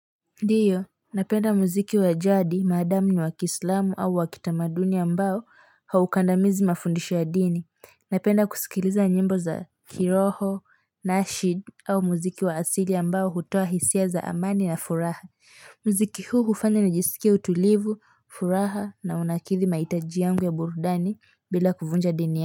Ndiyo, napenda muziki wa jadi, maadamu ni wa kiislamu au wa kitamaduni ambao haukandamizi mafundisho ya dini. Napenda kusikiliza nyimbo za kiroho naashib au muziki wa asili ambao hutoa hisia za amani na furaha. Muziki huu hufanya nijisikie utulivu, furaha na unakidhi mahitaji yangu ya burudani bila kuvunja dini.